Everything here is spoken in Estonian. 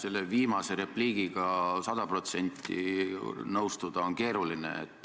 Selle viimase repliigiga sada protsenti nõustuda on keeruline.